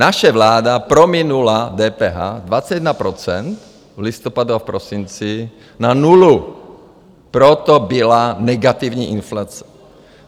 Naše vláda prominula DPH 21 % v listopadu a prosinci na nulu, proto byla negativní inflace.